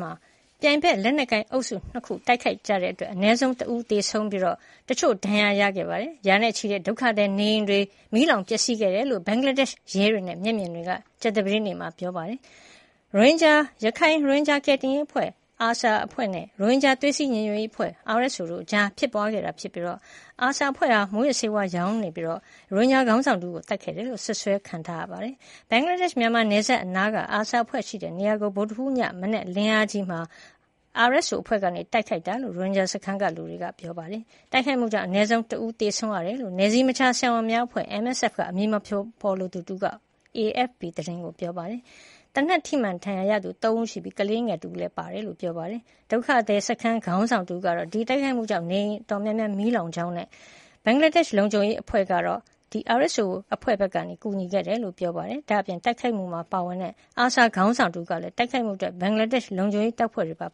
မှာ ပြိုင်ဖက် ရိုဟင်ဂျာ လက်နက်ကိုင်အုပ်စု ၂ ခု တိုက်ခိုက်ခဲ့တဲ့အတွက် အနည်းဆုံးတဦးသေဆုံးကာ၊ တချို့ဒဏ်ရာရခဲ့ပြီး၊ ရာနဲ့ချီတဲ့ ဒုက္ခသည်နေအိမ်တွေမီးလောင်ပျက်စီးခဲ့တယ်လို့ ဘင်္ဂလားဒေ့ရှ်ရဲ တွေနဲ့ ကိုယ်တိုင်တွေ့ခဲ့သူတွေက ပြောဆိုပါတယ်။ မူးယစ်ဆေးဝါးမှောင်ခိုမှုတွေနဲ့ ရိုဟင်ဂျာခေါင်းဆောင်တဦးကို သတ်ဖြတ်ခဲ့တယ်လို့ စွပ်စွဲခံထားရတဲ့ ARSA အဖွဲ့ဲ့ရှိရာ မြန်မာနိုင်ငံနဲ့ နယ်စပ်အနီးမှာ RSO အဖွဲ့က ဗုဒ္ဓဟူးနေ့အစောပိုင်းမှာ တိုက်ခိုက်ခဲ့တာလို့လည်း ရိုဟင်ဂျာ အသိုင်းအဝိုင်းကို ကိုးကားပြီး AFP သတင်းက ဖော်ပြခဲ့တာပါ။ တိုက်ခိုက်မှုကြောင့် အနည်းဆုံးတဦးသေဆုံးခဲ့တယ်လို့ နယ်စည်းမခြားဆရာဝန်များအဖွဲ့ MSF ကအမည်မဖေါ်လိုသူတဦးကို ကိုးကားဖော်ပြပါတယ်။ သေနတ်ထိမှန်ဒါဏ်ရာရသူ ၃ ဦးရှိပြီး ကလေးငယ်တဦးလည်းပါဝင်တယ်လို့ ဆိုပါတယ်။ ဒုက္ခသည်စခန်းကခေါင်းဆောင်တဦးဖြစ်တဲ့ Dil Mohammad ကတော့ တိုက်ခိုက်မှုကြောင့် ယာယီတဲတွေ အတော်များများ မီးလောင်ပျက်စီးသွားကြောင်းနဲ့ ဘင်္ဂလားဒေ့ရှ်လုံခြုံရေးတပ်ဖွဲ့တွေက RSO အဖွဲ့ဘက်ကကူညီခဲ့တယ်လို့ပြောဆိုပါတယ်။ တိုက်ခိုက်မှုမှာပါဝင်ခဲ့တဲ့ ARSA ခေါင်း ဆောင်တဦးကလည်း တိုက်ခိုက်မှုမှာ RSO အဖွဲ့ဖက်က ဘင်္ဂလားဒေ့ရှ်လုံခြုံရေး တပ်ဖွဲ့ တွေပါ